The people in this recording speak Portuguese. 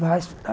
Vai estudar.